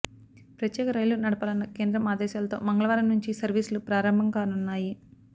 ప్రత్యేక రైళ్లు నడపాలన్న కేంద్రం ఆదేశాలతో మంగళవారం నుంచి సర్వీసులు ప్రారంభం కానున్నాయి